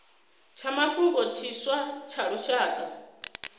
tsha mafhungo tshiswa tsha lushaka